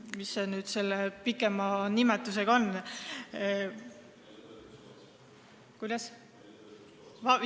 Mis selle pikem nimetus nüüd ongi?